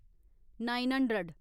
nine hundred